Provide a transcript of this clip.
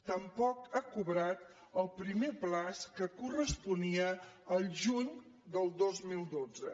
tampoc ha cobrat el primer termini que corresponia al juny del dos mil dotze